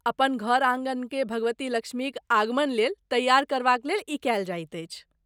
अपन घर आँगनकेँ भगवती लक्ष्मीक आगमन लेल तैआर करबाक लेल ई कयल जाइत अछि।